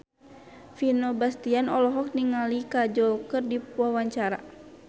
Vino Bastian olohok ningali Kajol keur diwawancara